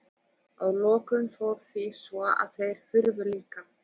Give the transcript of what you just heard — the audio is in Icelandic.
Að lokum fór því svo að þeir hurfu líka.